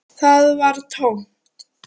Það var tómt.